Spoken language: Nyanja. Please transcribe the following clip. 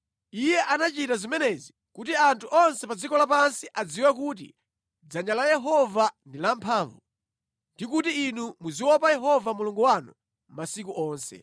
Iye anachita zimenezi kuti anthu onse pa dziko lapansi adziwe kuti dzanja la Yehova ndi lamphamvu, ndi kuti inu muziopa Yehova Mulungu wanu masiku onse.”